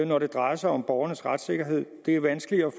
når det drejer sig om borgernes retssikkerhed det er vanskeligere at